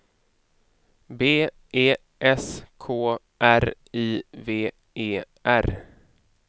B E S K R I V E R